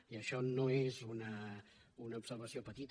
i això no és una observació petita